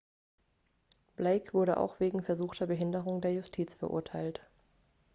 blake wurde auch wegen versuchter behinderung der justiz verurteilt